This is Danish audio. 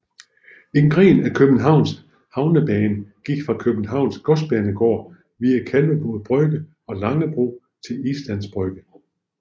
En gren af Københavns havnebane gik fra Københavns Godsbanegård via Kalvebod Brygge og Langebro til Islands Brygge